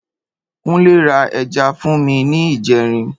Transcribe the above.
Kúnlé ra ẹja fún mi ní ìjẹrin.